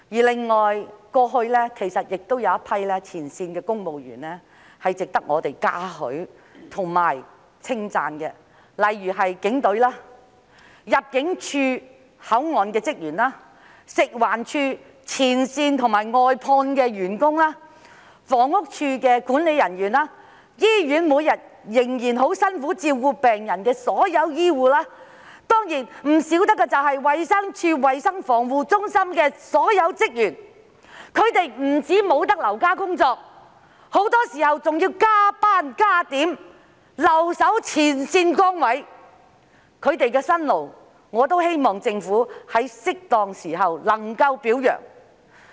另外，過去亦有一群前線公務員值得我們嘉許和稱讚，例如警隊、負責口岸的入境事務處職員、食環署的前線和外判員工、房屋署的管理人員、在醫院每天仍然辛苦照顧病人的所有醫護人員，當然少不得的就是衞生署衞生防護中心的所有職員，他們不止未能留家工作，很多時候還要超時工作、加點，留守前線崗位，我希望政府在適當時候也能表揚他們的辛勞。